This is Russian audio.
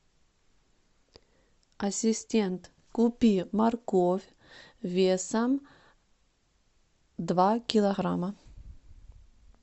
ассистент купи морковь весом два килограмма